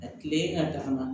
A tile ka dafa